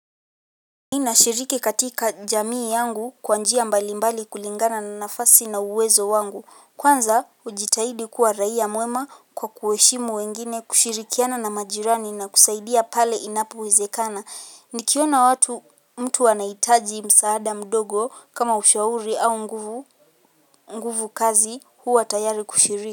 Nina shiriki katika jamii yangu kawa njia mbailimbali kulingana na nafasi na uwezo wangu. Kwanza ujitaidi kuwa raia muema kwa kuweshimu wengine kushirikiana na majirani na kusaidia pale inapuwizekana. Nikiwona watu mtu wanaitaji imsaada mudogo kama ushauri a unguvu kazi, huwa tayari kushiriki.